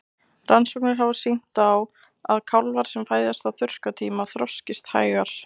Rannsóknir hafa sýnt að kálfar sem fæðast á þurrkatíma þroskist hægar.